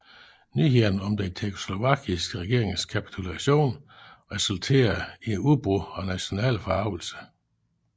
Nyhederne om den tjekkoslovakiske regerings kapitulation resulterede i et udbrudd af national forargelse